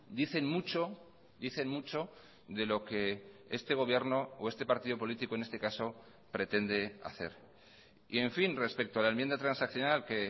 dicen mucho dicen mucho de lo que este gobierno o este partido político en este caso pretende hacer y en fin respecto a la enmienda transaccional que